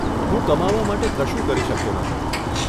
હું કમાવા માટે કશું કરી શકતો નથી.